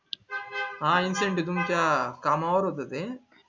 हा incentive तुमच्या कामा वर होत ते